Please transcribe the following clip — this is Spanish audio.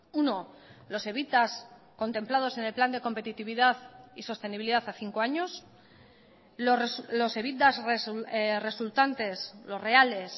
uno los evitas contemplados en el plan de competitividad y sostenibilidad a cinco años los evitas resultantes los reales